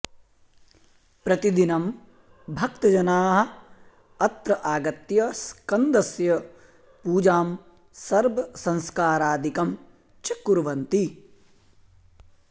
प्रतिदिनं भक्तजनाः अत्र आगत्य स्कन्दस्य पूजां सर्पसंस्कारादिकं च कुर्वन्ति